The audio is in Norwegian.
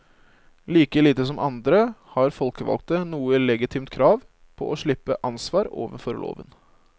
Like lite som andre har folkevalgte noe legitimt krav på å slippe ansvar overfor loven.